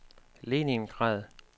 Leningrad